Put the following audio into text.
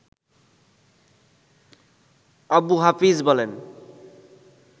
আবু হাফিজ বলেন